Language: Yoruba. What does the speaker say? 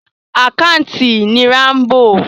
Àkántàntì ni Rámbò.